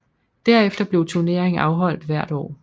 Derefter blev turneringen afholdt hvert år